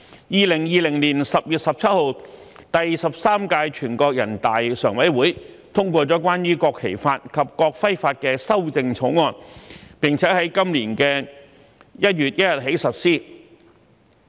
2020年10月17日，第十三屆全國人大常委會通過了關於《國旗法》及《國徽法》的修正草案，並於今年1月1日起實施。